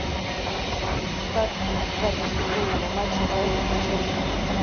ставь запись футбольного матча брайтон с челси